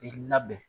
I labɛn